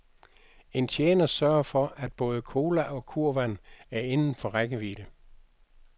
En tjener sørger for, at både cola og kurvand er inden for rækkevidde.